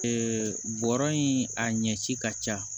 bɔrɔ in a ɲɛci ka ca